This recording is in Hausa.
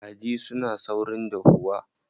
Kaji suna saurin dahuwa.